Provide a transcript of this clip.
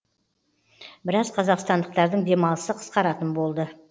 біраз қазақстандықтардың демалысы қысқаратын болды